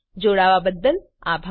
જોડાવા બદ્દલ આભાર